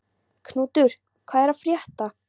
Knútur, hvað er að frétta?